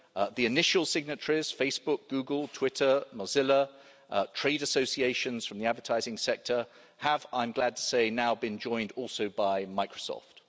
The initial signatories Facebook, Google, Twitter, Mozilla, trade associations from the advertising sector have, I'm glad to say, now been joined also by Microsoft.